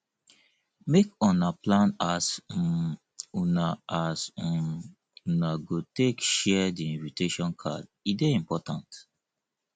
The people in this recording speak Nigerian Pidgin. make una plan as um una as um una go take share di invitation card e dey important